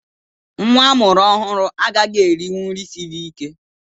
Nnwa a mụrụ ọhụrụ agaghị erinwu nri siri ike